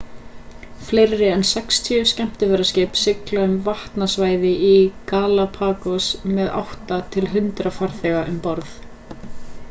fleiri en 60 skemmtiferðaskip sigla um vatnasvæði galapagos með 8-100 farþega um borð